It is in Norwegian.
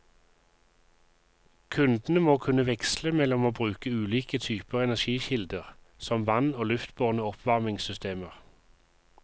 Kundene må kunne veksle mellom å bruke ulike typer energikilder som vann og luftbårne oppvarmingssystemer.